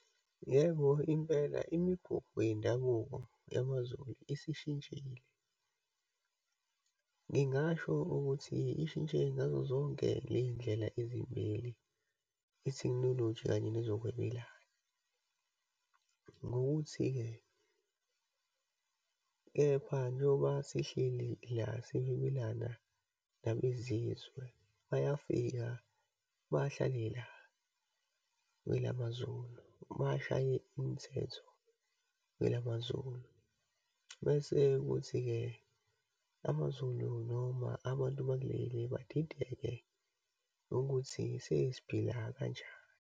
Yebo, impela imigubho yendabuko yamaZulu isishintshile. Ngingasho ukuthi ishintshe ngazozonke leyindlela ezimbili, itekhnoloji kanye nezokwebelana. Ngokuthi-ke kepha njengoba sihleli la, sihwebelana nabezizwe, bayafika bahlale la kwelamaZulu, bashaye imithetho kwelamaZulu. Bese kuthi-ke, amaZulu noma abantu bakuleli badideke ukuthi sesiphila kanjani.